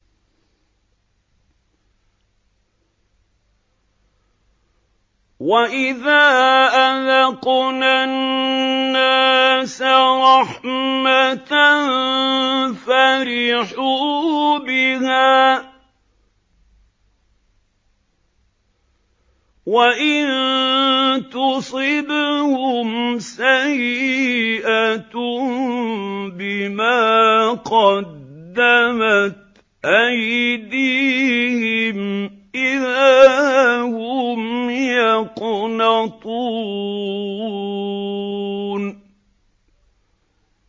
وَإِذَا أَذَقْنَا النَّاسَ رَحْمَةً فَرِحُوا بِهَا ۖ وَإِن تُصِبْهُمْ سَيِّئَةٌ بِمَا قَدَّمَتْ أَيْدِيهِمْ إِذَا هُمْ يَقْنَطُونَ